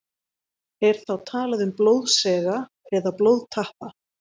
Er þá talað um blóðsega eða blóðtappa.